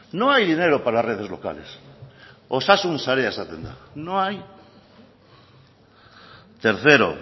no hay dinero para las redes locales osasun sarea esaten da no hay tercero